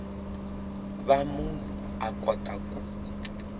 va munhu a kota ku